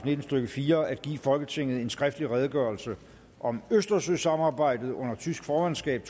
nitten stykke fire at give folketinget en skriftlig redegørelse om østersøsamarbejdet under tysk formandskab